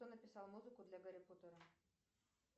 кто написал музыку для гарри поттера